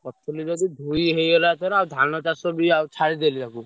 କରିଥିଲି ଯଦି ଧୋଇ ହେଇଗଲା ଏଥର ଆଉ ଧାନ ଚାଷ ବି ଆଉ ଛାଡିଦେଲି ଆଗକୁ।